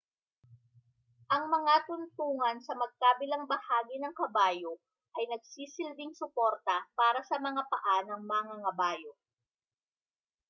ang mga tuntungan sa magkabilang bahagi ng kabayo ay nagsisilbing suporta para sa mga paa ng mangangabayo